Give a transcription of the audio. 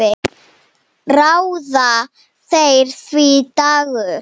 Ráða þeir því, Dagur?